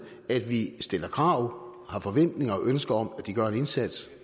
at vi stiller krav har forventninger og ønsker om at de gør en indsats